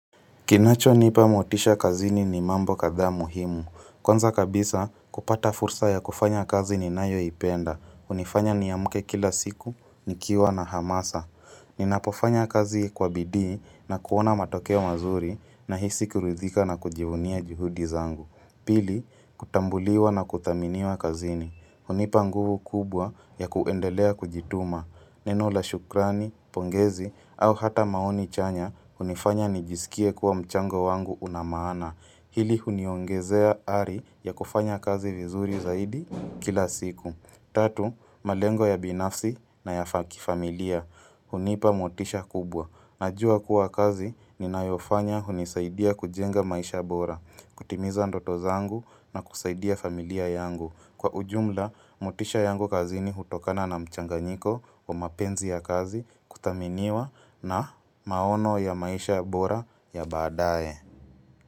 Kinachonipa motisha kazini ni mambo kadhaa muhimu. Kwanza kabisa kupata fursa ya kufanya kazi ninayoipenda. Hunifanya niamke kila siku, nikiwa na hamasa. Ninapofanya kazi kwa bidii na kuona matokeo mazuri nahisi kirudhika na kujivunia juhudi zangu. Pili, kutambuliwa na kuthaminiwa kazini. Hunipa nguvu kubwa ya kuendelea kujituma. Neno la shukrani, pongezi, au hata maoni chanya, hunifanya nijisikie kuwa mchango wangu unamaana. Hili huniongezea ari ya kufanya kazi vizuri zaidi kila siku. Tatu, malengo ya binafsi na ya kifamilia. Hunipa motisha kubwa. Najua kuwa kazi ninayofanya hunisaidia kujenga maisha bora. Kutimiza ndoto zangu na kusaidia familia yangu. Kwa ujumla, motisha yangu kazini hutokana na mchanganyiko wa mapenzi ya kazi, kuthaminiwa na maono ya maisha bora ya badae.